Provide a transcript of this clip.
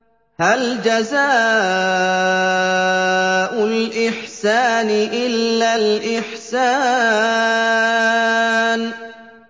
هَلْ جَزَاءُ الْإِحْسَانِ إِلَّا الْإِحْسَانُ